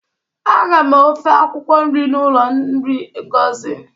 Aga m ofe akwukwọ nri n'ụlọ nri Ngozi.